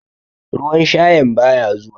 Ruwan shayan baya zuwa.